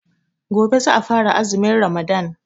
Gobe ​​za a fara azumin Ramadan.